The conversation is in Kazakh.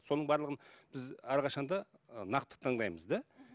соның барлығын біз әрқашан да нақты таңдаймыз да